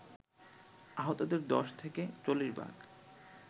আহতদের ১০ থেকে ৪০ ভাগ